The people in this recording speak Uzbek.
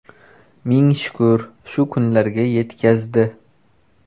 Ming shukr, shu kunlarga yetkazdi.